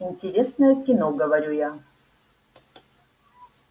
интересное кино говорю я